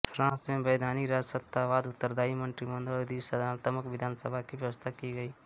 France में वैधानिक राजसत्तावाद उत्तरादायी मंत्रीमंडल और द्विसदनात्मक विधानसभा की व्यवस्था की गई